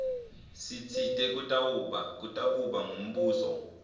sitsite kutakuba ngumbuso